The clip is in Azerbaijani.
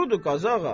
Doğrudur Qazı ağa.